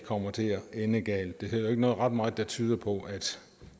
kommer til at ende galt der er heller ikke ret meget der tyder på at